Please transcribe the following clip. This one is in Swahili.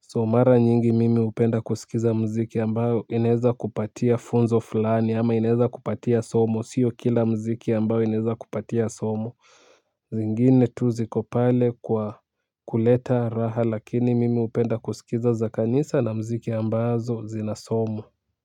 So mara nyingi mimi hupenda kusikiza mziki ambayo inaeza kupatia funzo fulani ama inaeza kupatia somo sio kila mziki ambayo inaeza kupatia somo zingine tu zikopale kwa kuleta raha lakini mimi hupenda kusikiza za kanisa na mziki ambazo zina somo.